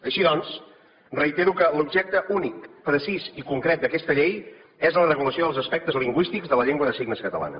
així doncs reitero que l’objecte únic precís i concret d’aquesta llei és la regulació dels aspectes lingüístics de la llengua de signes catalana